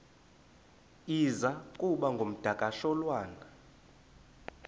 iza kuba ngumdakasholwana